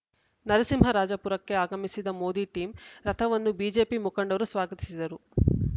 ನರಸಿಂಹರಾಜಪುರಕ್ಕೆ ಆಗಮಿಸಿದ ಮೋದಿ ಟೀಂ ರಥವನ್ನು ಬಿಜೆಪಿ ಮುಖಂಡರು ಸ್ವಾಗತಿಸಿದರು